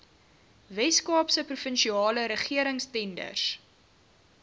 weskaapse provinsiale regeringstenders